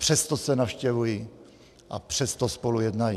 Přesto se navštěvují a přesto spolu jednají.